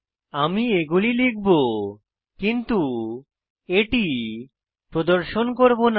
আমি এগুলি লিখব কিন্তু এটি প্রদর্শন করব না